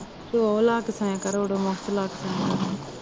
ਤੇ ਉਹ ਲਾ ਕੇ ਸੋਇਆ ਕਰੋ ਓਡੂਮਸ ਲਾ ਕੇ ਸੋਇਆਂ ਕਰੋ